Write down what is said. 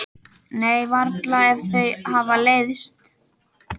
Nei, varla ef þau hafa leiðst.